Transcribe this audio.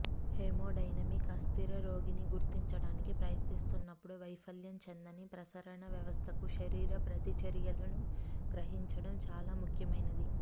haemodynamic అస్థిర రోగిని గుర్తించటానికి ప్రయత్నిస్తున్నప్పుడు వైఫల్యం చెందని ప్రసరణ వ్యవస్థకు శరీర ప్రతిచర్యలను గ్రహించడం చాలా ముఖ్యమైనది